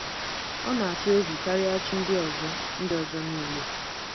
Ọ na-atụ egwu karịa chi ndị ọzọ ndị ọzọ niile.